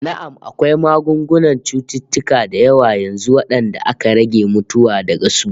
Na'am, akwai maganin cututtuka da yawa yanzu wanda aka rage mutuwa daga su